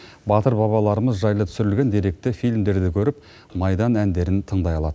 батыр бабаларымыз жайлы түсірілген деректі фильмдерді көріп майдан әндерін тыңдай алады